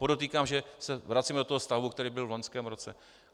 Podotýkám, že se vracíme do toho stavu, který byl v loňském roce.